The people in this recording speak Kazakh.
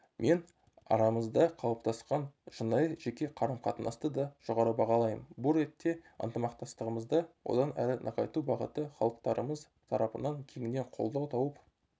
мен арамызда қалыптасқан шынайы жеке қарым-қатынасты да жоғары бағалаймын бұл ретте ынтымақтастығымызды одан әрі нығайту бағыты халықтарымыз тарапынан кеңінен қолдау тауып